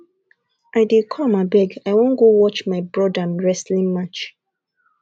i dey come abeg i wan go watch my broda wrestling match